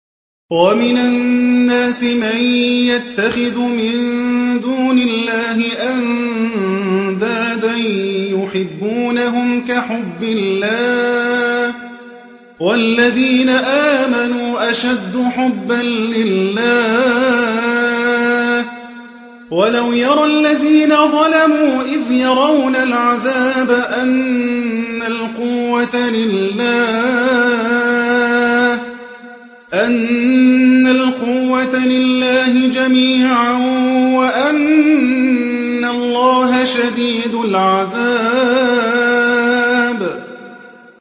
وَمِنَ النَّاسِ مَن يَتَّخِذُ مِن دُونِ اللَّهِ أَندَادًا يُحِبُّونَهُمْ كَحُبِّ اللَّهِ ۖ وَالَّذِينَ آمَنُوا أَشَدُّ حُبًّا لِّلَّهِ ۗ وَلَوْ يَرَى الَّذِينَ ظَلَمُوا إِذْ يَرَوْنَ الْعَذَابَ أَنَّ الْقُوَّةَ لِلَّهِ جَمِيعًا وَأَنَّ اللَّهَ شَدِيدُ الْعَذَابِ